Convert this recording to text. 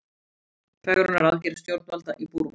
Fegrunaraðgerð stjórnvalda í Búrma